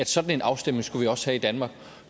sådan en afstemning skulle vi også have i danmark